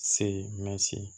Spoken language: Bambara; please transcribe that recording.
Se mɛsi